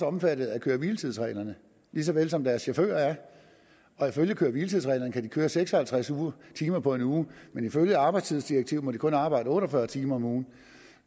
omfattet af køre hvile tids reglerne lige så vel som deres chauffører er og ifølge køre hvile tids reglerne kan de køre seks og halvtreds timer på en uge men ifølge arbejdstidsdirektivet må de kun arbejde otte og fyrre timer om ugen